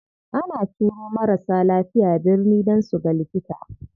Ana turo marasa lafiya birni dan suga likita.